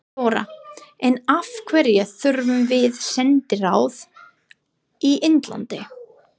Þóra: En af hverju þurfum við sendiráð í Indlandi?